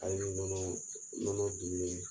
Hali ni nɔnɔ, nɔnɔ dunnen